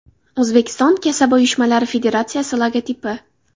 O‘zbekiston kasaba uyushmalari Federatsiyasi logotipi.